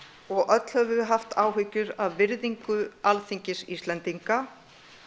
og öll höfum við haft áhyggjur af virðingu Alþingis Íslendinga